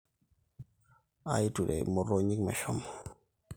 aiture imotonyik meshomo